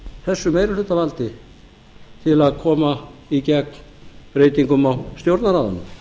þessu meirihlutavaldi til að koma í gegn breytingum á stjórnarráðinu